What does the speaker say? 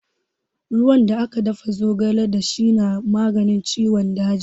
Ruwan da aka dafa zogale da shi na maganin ciwon daji.